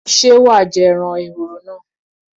Ṣé wàá jẹ ẹran ehoro náà?